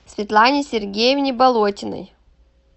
светлане сергеевне болотиной